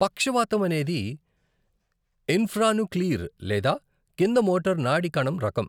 పక్షవాతం అనేది ఇంఫ్రానుక్లీర్ లేదా కింద మోటార్ నాడి కణం రకం.